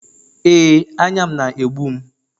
Ee, anya m na-egbum